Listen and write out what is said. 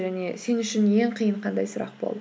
және сен үшін ең қиын қандай сұрақ болды